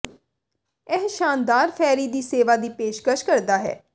ਇਹ ਸ਼ਾਨਦਾਰ ਫੈਰੀ ਦੀ ਸੇਵਾ ਦੀ ਪੇਸ਼ਕਸ਼ ਕਰਦਾ ਹੈ